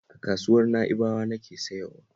A kasuwar Na'ibawa nake sayowa